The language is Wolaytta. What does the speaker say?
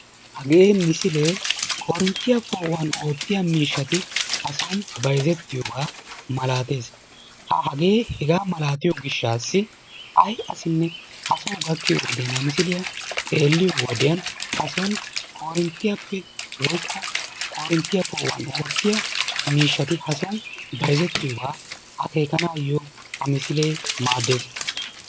Hagee misilee korinttiya poo'uwan oottiya miishshati hason bayzettiyogaa malaatees. Ha hagee hegaa malaatiyo gishshaassi ay asinine ha Soo gakkiyo wodiyan ha misiliya xeelliyo wodiyan hason korinttiyappe woykko Korinttiya poo'uwan oottiya miishshati hason bayzettiyogaa akeekanaayyo ha misilee maaddees.